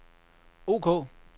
ok